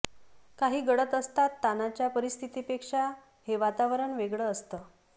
काही गळत असतात ताणाच्या परिस्थितीपेक्षा हे वातावरण वेगळं असतं